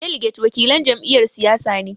Daliget wakilan jam'iyyar siyasa ne.